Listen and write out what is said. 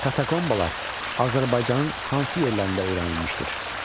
Katokombalar Azərbaycanın hansı yerlərində öyrənilmişdir?